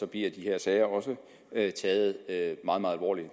bliver de her sager også taget meget meget alvorligt